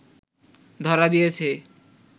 ধরা দিয়েছে